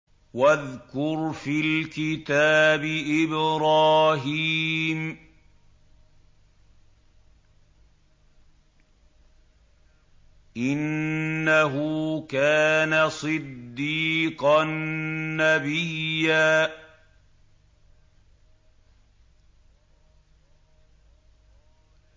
وَاذْكُرْ فِي الْكِتَابِ إِبْرَاهِيمَ ۚ إِنَّهُ كَانَ صِدِّيقًا نَّبِيًّا